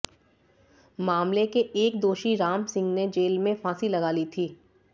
मामले के एक दोषी रामसिंह ने जेल में फांसी लगा ली थी